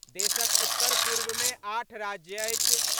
देशक उत्तर-पूर्वमे आठ राज्य अछि।